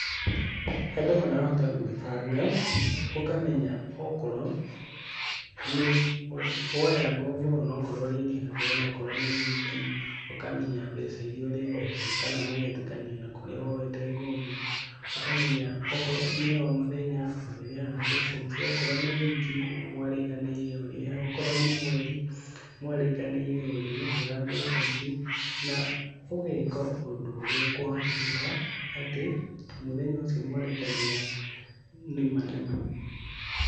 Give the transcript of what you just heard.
Andũ marahota gwĩbanga ũkamenya okorwo nĩ woya ngombo akorwo rĩngĩ nĩ wiki ũkamenya mbeca iria ũrĩrĩhaga na mũgetĩkania na kũrĩa ngombo ũkamenya o mũthenya ũrĩrĩhaga mbeca icio okorwo wiki mwarĩkanĩire ũrĩhe, okorwo nĩ mweri mwarĩkanĩire ũrĩrĩhaga mbeca ici na ũgeka ũndũ ũrĩa ũkũhotekeka atĩ mũthenya ũcio mwarĩkanĩra nĩ ma nĩ ma.